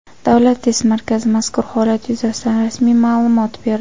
Davlat test markazi mazkur holat yuzasidan rasmiy ma’lumot berdi.